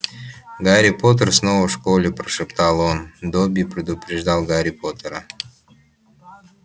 гарри поттер снова в школе прошептал он добби предупреждал гарри поттера